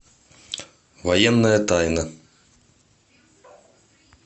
военная тайна